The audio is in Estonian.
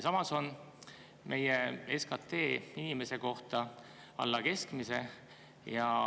Samas on meie SKT inimese kohta alla keskmise.